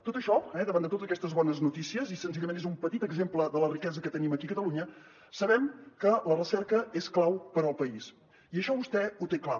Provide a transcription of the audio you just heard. tot això davant de totes aquestes bones notícies senzillament és un petit exemple de la riquesa que tenim aquí a catalunya sabem que la recerca és clau per al país i això vostè ho té clar